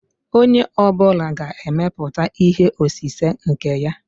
Onye ọ bụla ga-emepụta ihe osise nke ya?